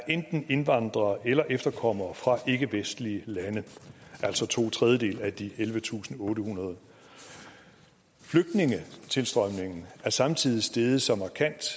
enten er indvandrere eller efterkommere fra ikkevestlige lande altså to tredjedele af de ellevetusinde og ottehundrede flygtningetilstrømningen er samtidig steget så markant